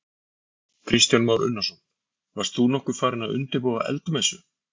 Kristján Már Unnarsson: Varst þú nokkuð farinn að undirbúa eldmessu?